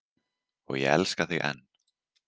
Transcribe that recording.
Og ég elska þig enn.